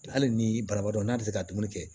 Hali ni banabaatɔ n'a ti se ka dumuni kɛ